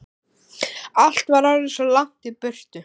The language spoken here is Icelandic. Allt var orðið svo langt í burtu.